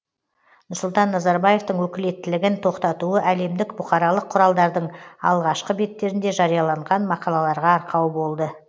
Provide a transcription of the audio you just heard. нұрсұлтан назарбаевтың өкілеттілігін тоқтатуы әлемдік бұқаралық құралдардың алғашқы беттерінде жарияланған мақалаларға арқау болды